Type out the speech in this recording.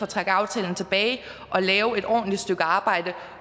trække aftalen tilbage og lave et ordentligt stykke arbejde